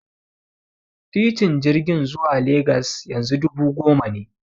Tikitin jirgin zuwa Legas yanzu dubu goma ne.